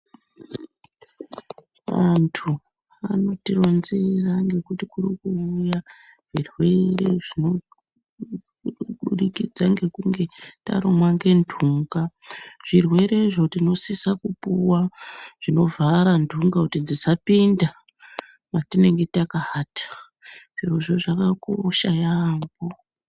Vantu vanotironzera ngekuti kurikuuya zvirwere zvinobudikidza ngekunge tarumwa ngendunga. Zvirwerezvo tinosisa kupuwa zvinovhara ndunga kuti dzisapinda mwatinenge takaata. Zvirozvo zvakakosha yaambo.